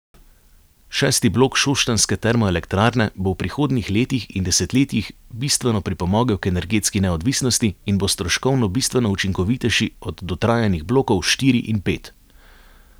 Šesti blok šoštanjske termoelektrarne bo v prihodnjih letih in desetletjih bistveno pripomogel k energetski neodvisnosti in bo stroškovno bistveno učinkovitejši od dotrajanih blokov štiri in pet.